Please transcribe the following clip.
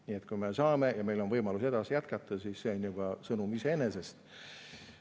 Nii et kui me saame ja meil on võimalus jätkata, siis see on juba sõnum iseenesest.